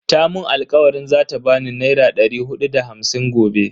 Ta mun alkawarin zata bani naira dari hudu da hamsin gobe.